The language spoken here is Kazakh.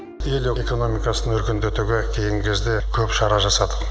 ел экономикасын өркендетуге кейінгі кезде көп шара жасадық